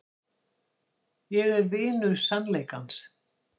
Ég er vinur sannleikans.